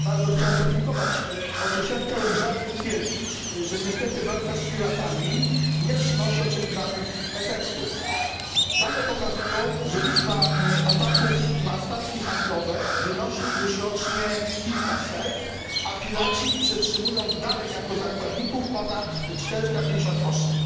Chciałem z żalem stwierdzić, że niestety walka z piratami nie przynosi oczekiwanych efektów. Dane pokazują, że liczba ataków na statki handlowe wynosi już rocznie kilkaset, a piraci przetrzymują dalej jako zakładników ponad 450 osób.